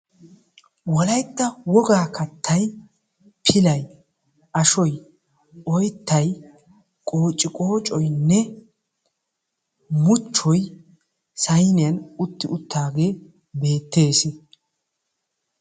Wolaytta Wogaa kattay pilay, ashoy, oyttay, qociqoocoynne muchchoy sayinniyan utti uttaage beettes.